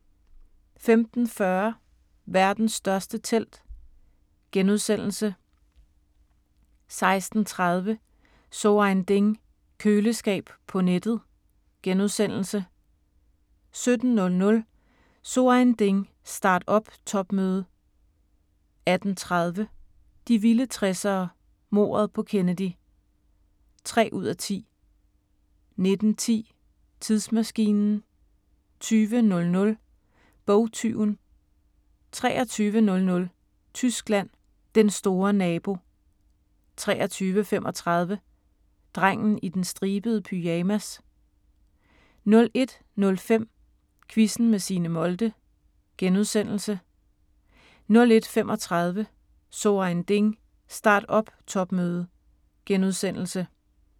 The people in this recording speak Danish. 15:40: Verdens største telt * 16:30: So Ein Ding: Køleskab på nettet * 17:00: So Ein Ding: Start-up topmøde 18:30: De vilde 60'ere: Mordet på Kennedy (3:10) 19:10: Tidsmaskinen 20:00: Bogtyven 23:00: Tyskland: Den store nabo 23:35: Drengen i den stribede pyjamas 01:05: Quizzen med Signe Molde * 01:35: So Ein Ding: Start-up topmøde *